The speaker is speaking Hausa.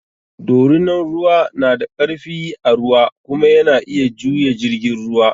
Dorinan ruwa na da ƙarfi a ruwa kuma yana iya juya jirgin ruwa.